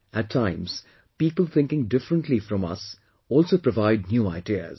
At times, people thinking differently from us also provide new ideas